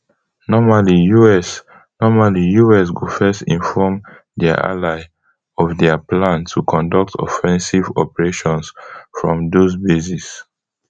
normally us normally us go first inform dia ally of dia plan to conduct offensive operations from those bases